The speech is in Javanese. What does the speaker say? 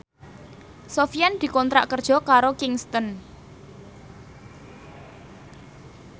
Sofyan dikontrak kerja karo Kingston